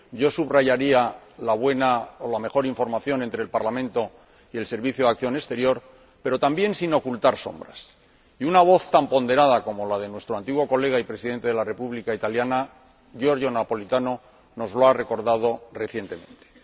yo subrayaría la buena o la mejor información entre el Parlamento y el Servicio Europeo de Acción Exterior—, pero también sin ocultar sombras, y una voz tan ponderada como la de nuestro antiguo colega y Presidente de la República Italiana, Giorgio Napolitano, nos lo ha recordado recientemente.